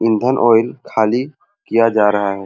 ईंधन ऑयल खाली किया जा रहा है।